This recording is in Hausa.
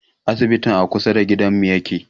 Asibitin a kusa da gidanmu yake